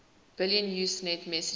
billion usenet messages